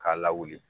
K'a lawuli